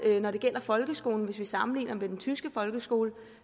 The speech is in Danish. når det gælder folkeskolen hvis vi sammenligner med den tyske folkeskole